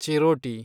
ಚಿರೋಟಿ